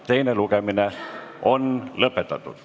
Teine lugemine on lõppenud.